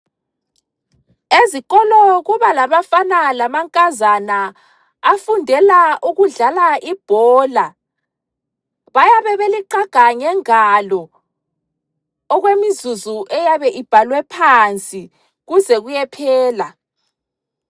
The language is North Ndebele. Ezikolo kubalabafana lamankazana afundela ukudlala ibhola ,bayabe beliqaga ngengalo okwemizuzu eyabe ibhalwe phansi kuze kuyephela.